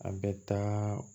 A bɛ taa